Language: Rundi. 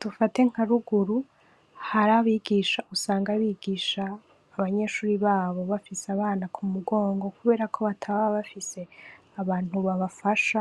Dufate nka ruguru hari abigisha usanga bigisha abanyeshure babo bafise abana ku mugongo kuberako bataba bafise abantu babafasha